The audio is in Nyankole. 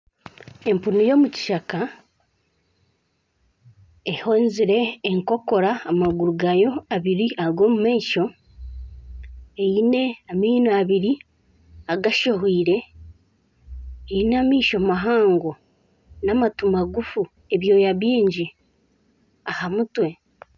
Empunu y'omukishaka ehenzire enkokora amaguru gaayo abiri ag'omu maisho eine amaino abiri agashohwiire eine amaisho mahango n'amatu mahango magufu ebyoya bingi aha mutwe